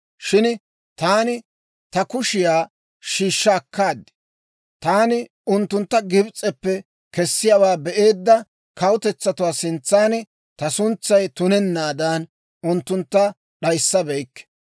Shin taani ta kushiyaa shiishsha akkaad. Taani unttuntta Gibs'eppe kessiyaawaa be'eedda kawutetsatuwaa sintsan ta suntsay tunennaadan, unttuntta d'ayissabeykke.